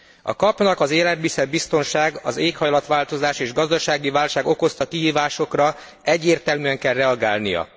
A KAP nak az élelmiszerbiztonság, az éghajlatváltozás és gazdasági válság okozta kihívásokra egyértelműen kell reagálnia.